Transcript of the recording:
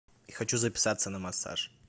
хочу записаться на массаж